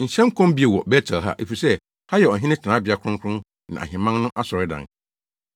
Nhyɛ nkɔm bio wɔ Bet-El ha, efisɛ ha yɛ ɔhene tenabea kronkron ne ahemman no asɔredan.”